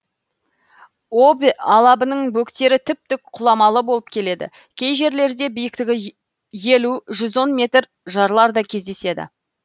обь алабының бөктері тіп тік құламалы болып келеді кей жерлерде биіктігі елу жүз он метр жарлар да кездеседі